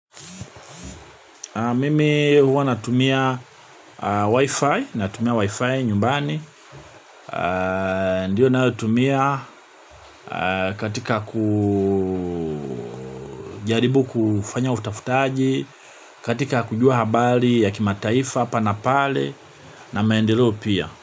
Mimi huwa natumia wifi, natumia wifi nyumbani, ndiyo natumia katika kujaribu kufanya utafutaji, katika kujua habari ya kimataifa, hapa na pale, na maendeleo pia.